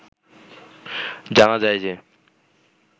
জানা যায় যে